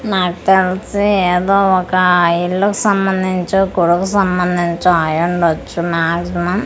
నాకు తెలిసి ఏదో ఒక ఇల్లు కీ సంబందించో గొడవకి సంబందించొ అయ్యి ఉండచ్చు మ్యజీమం .